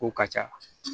Ko ka ca